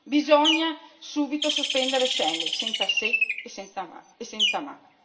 Bisogna subito sospendere Schengen senza se e senza ma.